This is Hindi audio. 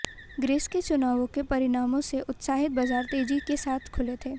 ग्रीस के चुनावों के परिणामों से उत्साहित बाजार तेजी के साथ खुले थे